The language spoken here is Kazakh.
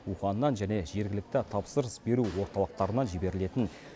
уханьнан және жергілікті тапсырыс беру орталықтарынан жіберілетін